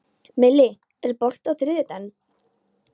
Millý, er bolti á þriðjudaginn?